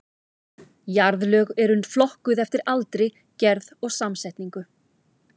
Jarðlög eru flokkuð eftir aldri, gerð og samsetningu.